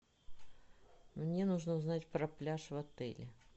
мне нужно узнать про пляж в отеле